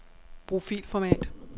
Brug filformat.